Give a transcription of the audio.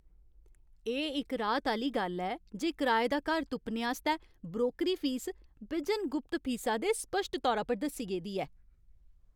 एह् इक राहत दी गल्ल ऐ जे कराए दा घर तुप्पने आस्तै ब्रोकरी फीस बिजन गुप्त फीसा दे स्पश्ट तौरा पर दस्सी गेदी ऐ।